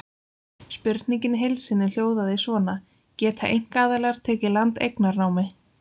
Spurningin í heild sinni hljóðaði svona: Geta einkaaðilar tekið land eignarnámi?